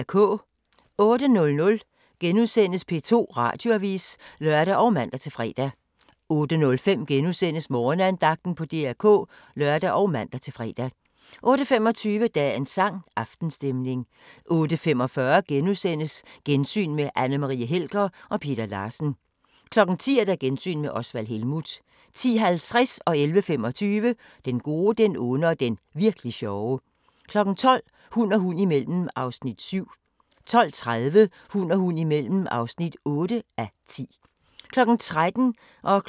08:00: P2 Radioavis *(lør og man-fre) 08:05: Morgenandagten på DR K *(lør og man-fre) 08:25: Dagens sang: Aftenstemning 08:45: Gensyn med Anne Marie Helger og Peter Larsen * 10:00: Gensyn med Osvald Helmuth 10:50: Den gode, den onde og den virk'li sjove 11:25: Den gode, den onde og den virk'li sjove 12:00: Hund og hund imellem (7:10) 12:30: Hund og hund imellem (8:10) 13:00: Kvit eller Dobbelt